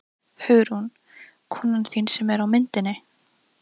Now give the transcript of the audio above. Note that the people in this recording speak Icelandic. Hugrún: Konan þín sem er á myndinni?